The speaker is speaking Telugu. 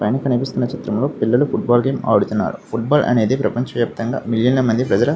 పైన కనిపిస్తున్న చిత్రం లో పిల్లలు ఫూట్బాల్ గేమ్ ఆడుతున్నారు. ఫుట్బాల్ అనేది ప్రపంచ వ్యాప్తంగా మిలియన్ లా మంది ప్రజల --